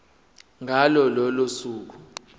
ngalo lolo suku